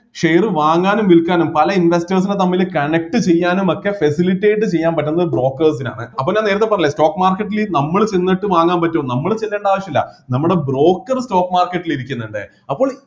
share വാങ്ങാനും വിൽക്കാനും പല investors നെ തമ്മില് connect ചെയ്യാനും ഒക്കെ facilitate ചെയ്യാൻ പറ്റുന്ന brokers നാണ് അപ്പൊ ഞാൻ നേരത്തെ പറഞ്ഞില്ലെ stock market ൽ നമ്മള് ചെന്നിട്ട് വാങ്ങാൻ പറ്റോ നമ്മള് ചെല്ലേണ്ട ആവശ്യം ഇല്ല നമ്മടെ broker stock market ല് ഇരിക്കുന്നുണ്ട് അപ്പോൾ